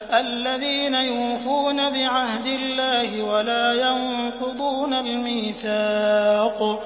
الَّذِينَ يُوفُونَ بِعَهْدِ اللَّهِ وَلَا يَنقُضُونَ الْمِيثَاقَ